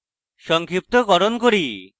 সংক্ষিপ্তকরণ করি